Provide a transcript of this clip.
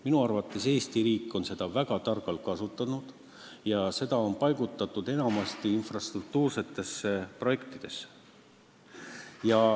Minu arvates on Eesti riik seda väga targalt kasutanud, see on enamasti paigutatud infrastruktuuriprojektidesse.